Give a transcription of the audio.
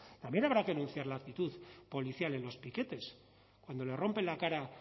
también habrá que denunciar la actitud policial en los piquetes cuando le rompen la cara